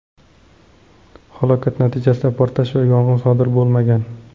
Halokat natijasida portlash va yong‘in sodir bo‘lmagan.